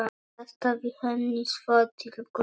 Kastaði henni svo til Gulla.